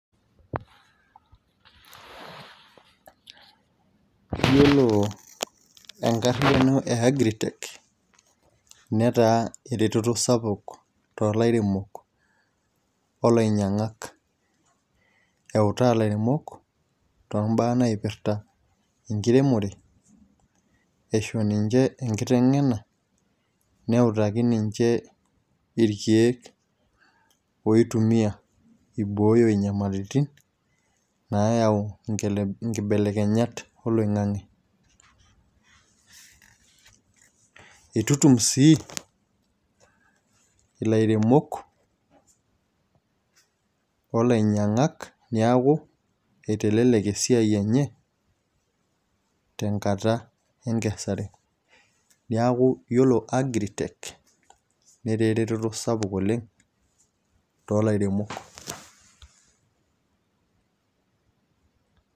iyiolo enkariyiano e agritech netaa eretoto sapuk toolairemok, olainyiang'ak eutaa ilairemok too mbaa naipirta enkuremore, eisho ninche enkiteng'ena. neutaki ninche, irkeek oi tumia, ibooyo nyamalitin, naayau nkibelekenyat oloing'ang'e itutium sii ilaremok olainyiang'ak neeku itelelek esiai enye tenkata enkesare. niaku yiolo agritech netaa eretoto sapuk oleng' too lairemok.